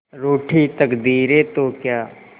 रूठी तकदीरें तो क्या